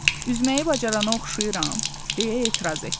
Üzməyi bacarana oxşayıram, deyə etiraz etdi.